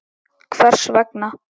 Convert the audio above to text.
Hvers vegna.